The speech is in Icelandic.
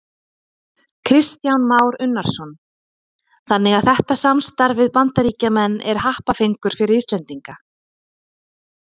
Kristján Már Unnarsson: Þannig að þetta samstarf við Bandaríkjamenn er happafengur fyrir Íslendinga?